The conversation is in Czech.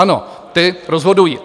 Ano, ti rozhodují.